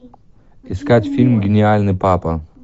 искать фильм гениальный папа